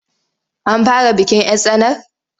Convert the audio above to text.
An fara bikin 'yar tsanar?